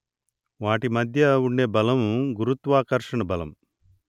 వాటి మధ్య ఉండే బలం గురుత్వాకర్షణ బలం